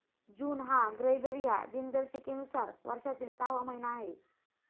जून हा ग्रेगरीय दिनदर्शिकेनुसार वर्षातील सहावा महिना आहे.